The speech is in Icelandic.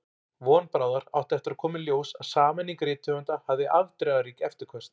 Von bráðar átti eftir að koma í ljós að sameining rithöfunda hafði afdrifarík eftirköst.